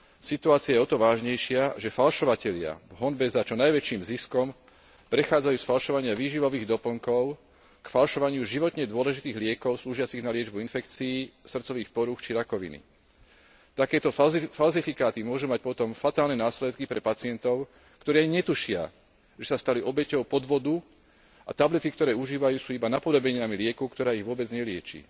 Situácia je o to vážnejšia, že falšovatelia v honbe za čo najväčším ziskom prechádzajú z falšovania výživových doplnkov k falšovaniu životne dôležitých liekov slúžiacich na liečbu infekcií, srdcových porúch či rakoviny. Takéto falzifikáty môžu mať potom fatálne následky pre pacientov, ktorí ani netušia, že sa stali obeťou podvodu a tablety, ktoré užívajú, sú iba napodobeninou lieku, ktorá ich vôbec nelieči.